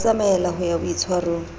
ba tsamaella ho ya boitshwarong